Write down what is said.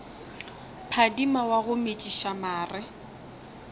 phadima wa go metšiša mare